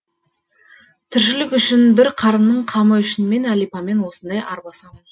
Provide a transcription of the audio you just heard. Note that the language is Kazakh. тіршілік үшін бір қарынның қамы үшін мен әлипамен осылай арбасамын